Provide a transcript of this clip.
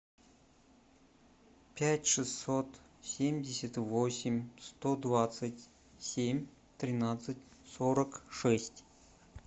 пять шестьсот семьдесят восемь сто двадцать семь тринадцать сорок шесть